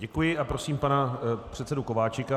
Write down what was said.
Děkuji a prosím pana předsedu Kováčika.